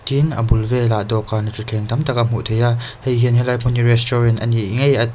tin a bul velah dawhkan leh thuthleng tam tak a hmuh theih a hei hian helai hmun hi restaurant a nih ngei--